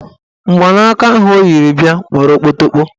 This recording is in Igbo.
Mgbanaka ahụ o yiri bịa gbara okpotokpo.